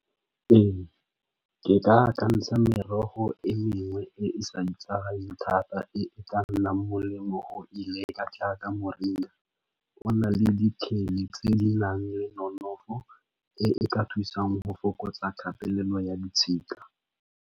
Ee, ke ka akantsha merogo e mengwe e e sa itsagaleng thata e ka nnang molemo go e jaaka moringa ona le diteng tse di nang le nonofo e ka thusang go fokotsa kgatelelo ya ditshika.